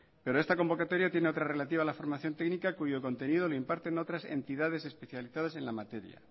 pero esta convocatoria tiene otra relativa a la formación técnica cuyo contenido lo imparten otras entidades especializadas en la materia